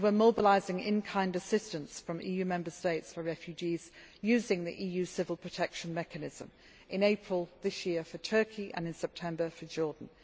as NGOs. We are also mobilising in kind assistance from EU Member States for refugees, using the EU civil protection mechanism in April of this year for Turkey and in September for